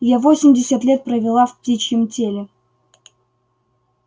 я восемьдесят лет провела в птичьем теле